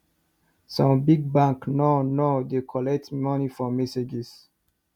some big bank nor nor dey collect money for messages